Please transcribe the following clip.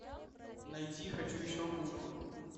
найди хочу еще гуфа